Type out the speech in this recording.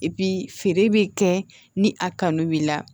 feere bɛ kɛ ni a kanu b'i la